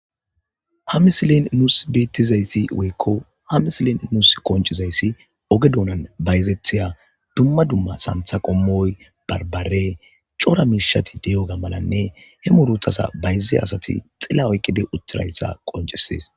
hamisilen nus deettizayssi weykko ha misilen nus qoncizayssi oge dounan bayzethiya dumma dumma santha qommoy barbare cora miishati de7oga malanne he muruthasa bayze asati xilla oyqide uttirayssa qoncisees